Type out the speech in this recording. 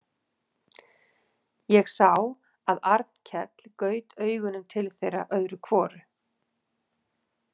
Ég sá að Arnkell gaut augunum til þeirra öðru hvoru.